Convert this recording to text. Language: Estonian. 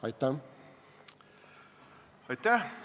Aitäh!